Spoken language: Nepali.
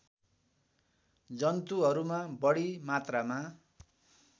जन्तुहरूमा बढी मात्रामा